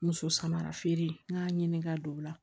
Muso samara feere n k'a ɲini ka don o la